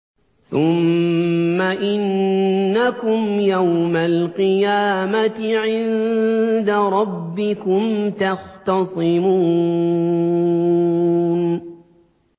ثُمَّ إِنَّكُمْ يَوْمَ الْقِيَامَةِ عِندَ رَبِّكُمْ تَخْتَصِمُونَ